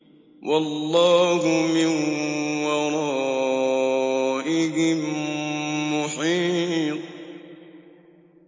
وَاللَّهُ مِن وَرَائِهِم مُّحِيطٌ